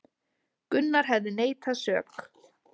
Gunnar hefði neitað sök